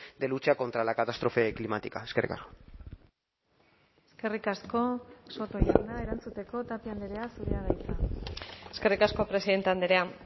de lucha contra la catástrofe climática eskerrik asko eskerrik asko soto jauna erantzuteko tapia andrea zurea da hitza eskerrik asko presidente andrea